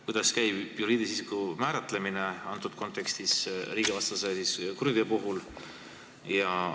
Kuidas käib juriidilise isiku määratlemine antud kontekstis, riigivastase kuriteo puhul?